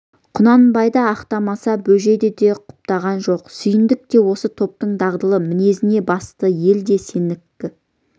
құнанбайды ақтамаса бөжейді де құптаған жоқ сүйіндік те осы топтың дағдылы мінезіне басты ел де сенікі